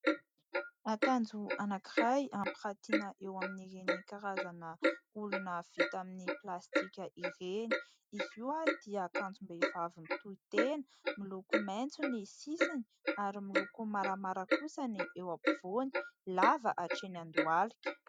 Akanjo anankiray ampirantiana eo amin'ireny karazana olona vita amin'ny plastika ireny. Izy io dia akanjom-behivavy mitohitena miloko maitso ny sisiny ary miloko maramara kosa ny eo ampovoany, lava hatreny an-dohalika.